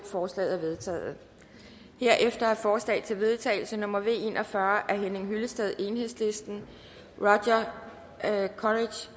forslaget er vedtaget herefter er forslag til vedtagelse nummer v en og fyrre af henning hyllested roger af rasmus